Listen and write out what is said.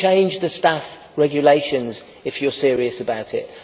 So you change the Staff Regulations if you are serious about it.